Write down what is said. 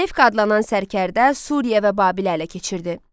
Selevk adlanan sərkərdə Suriya və Babil ələ keçirdi.